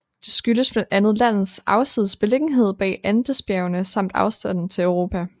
Det skyldes blandt andet landets afsides beliggenhed bag Andesbjergene samt afstanden til Europa